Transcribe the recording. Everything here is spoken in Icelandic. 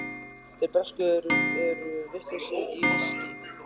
Þeir bresku eru vitlausir í viskí.